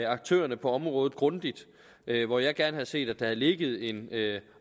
aktørerne på området grundigt hvor jeg gerne havde set at der havde ligget en